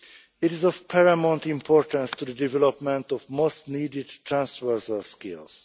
It is of paramount importance to the development of most needed transfers of skills.